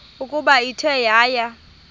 ukuba ithe yaya